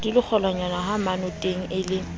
di le kgolwanyanehamonate e le